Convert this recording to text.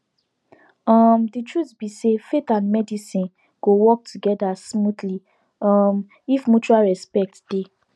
um the truth be say faith and medicine go work together smoothly um if mutual respect dey